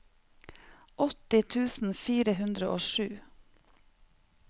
åtti tusen fire hundre og sju